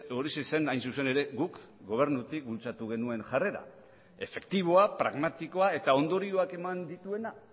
horixe zen hain zuzen ere guk gobernutik bultzatu genuen jarrera efektiboa pragmatikoa eta ondorioak eman dituena